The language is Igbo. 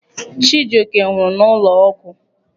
Chijioke nwụrụ n'ụlọ ọgwụ.